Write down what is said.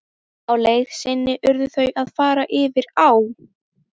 Á leið sinni urðu þau að fara yfir á.